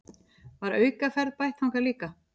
Var aukaferð bætt þangað líka